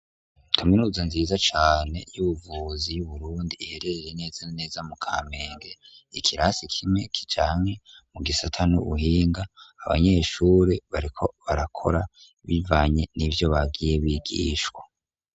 Kaminuza nziza cane y'ubuvuzi y'uburundi ihererere neza neza mu kamenge ikirasi kimwe kijanke mu gisata n'ubuhinga abanyeshure bariko barakora bivanye n'ivyo bagiye bigishwa.